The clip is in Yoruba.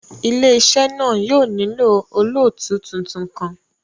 Ile-iṣẹ náa yóò nilo olootu tuntun kan